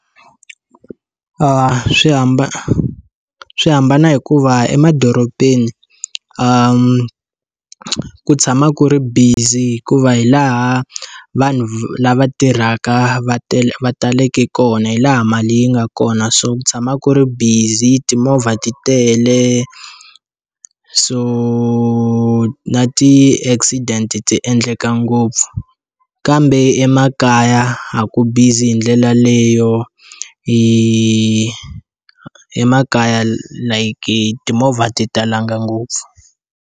Swi hambana swihambana hikuva emadorobeni i ku tshama ku ri busy hikuva hi laha vanhu lava tirhaka va tele va taleke kona hi laha mali yi nga kona so tshama ku ri busy timovha va ti tele so na ti accident ti endleka ngopfu kambe emakaya a ku bizi hi ndlela leyo emakaya like timovha ti talanga ngopfu.